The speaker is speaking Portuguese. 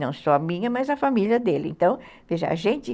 Não só a minha, mas a família dele, então, a gente